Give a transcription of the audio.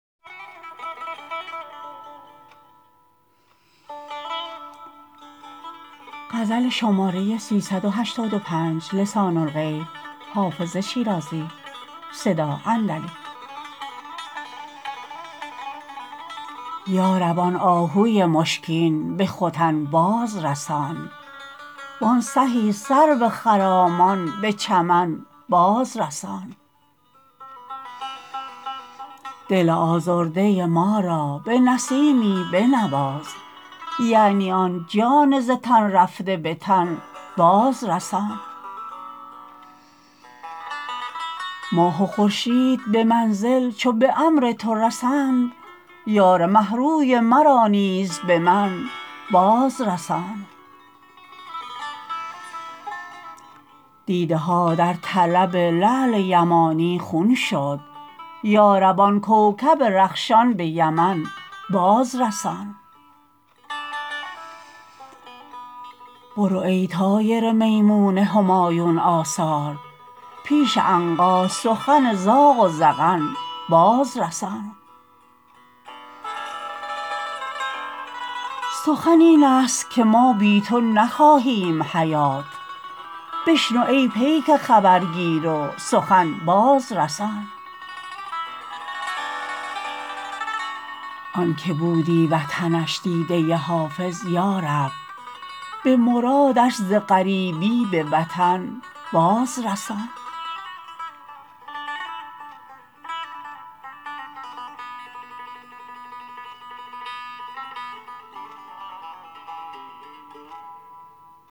یا رب آن آهوی مشکین به ختن باز رسان وان سهی سرو خرامان به چمن باز رسان دل آزرده ما را به نسیمی بنواز یعنی آن جان ز تن رفته به تن باز رسان ماه و خورشید به منزل چو به امر تو رسند یار مه روی مرا نیز به من باز رسان دیده ها در طلب لعل یمانی خون شد یا رب آن کوکب رخشان به یمن باز رسان برو ای طایر میمون همایون آثار پیش عنقا سخن زاغ و زغن باز رسان سخن این است که ما بی تو نخواهیم حیات بشنو ای پیک خبرگیر و سخن باز رسان آن که بودی وطنش دیده حافظ یا رب به مرادش ز غریبی به وطن باز رسان